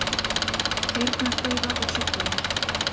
Heyrnardeyfa og sjúkdómar